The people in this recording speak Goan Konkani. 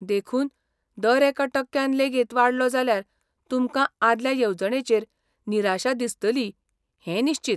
देखून, दर एका टक्क्यान लेगीत वाडलो जाल्यार तुमकां आदल्या येवजणेचेर निराशा दिसतली हें निश्चीत.